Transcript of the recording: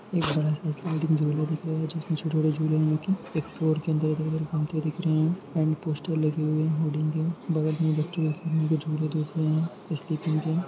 एक बड़ा सा स्लाइड में झूला दिख रहा है जिसमे छोटे छोटे झूले देखी एक रहे एक फ्लोर के अंदर इधर उधर काउन्टर दिख रहे है एण्ड पोस्टर लगे हुए है होल्डिंग के बगल मे बच्चों के खेलने के झूले दिख रहे हैं। --